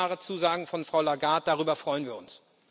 Das sind klare Zusagen von Frau Lagarde, darüber freuen wir uns.